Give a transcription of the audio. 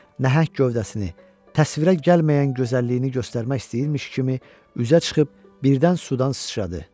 Nəhəng gövdəsini, təsvirə gəlməyən gözəlliyini göstərmək istəyirmiş kimi üzə çıxıb birdən sudan sıçradı.